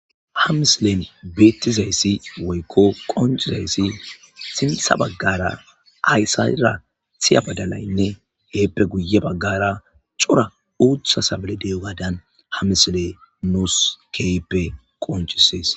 ha mislen beettizayssi woykko qoncizayssi simtha baggara aysayra thiya badalaynne heeppe guye baggara cora uutha sabale deyogadan hamisle nuus keeppe qoncisies.